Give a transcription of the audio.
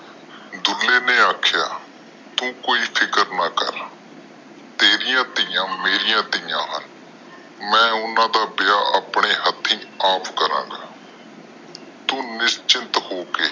ਡੁਲ੍ਹੇ ਨੇ ਆਖਿਆ ਤੂੰ ਕੋਈ ਫਿਕਰ ਨਾ ਕਰ ਤੇਰੀਆਂ ਧਿਆ ਮੇਰੀਆਂ ਧਿਆ ਨੇ ਮੈਂ ਓਹਨਾ ਦਾ ਵਿਆਹ ਅਉਪਣੇ ਹਾਥੀ ਅੱਪਕਰਾ ਗਏ ਤੂੰ ਨਿਸ਼ਚਿੰਤ ਹੋ ਕੇ